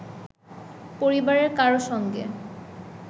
পরিবারের কারও সঙ্গে